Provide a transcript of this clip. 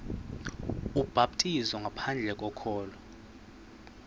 ubhaptizo ngaphandle kokholo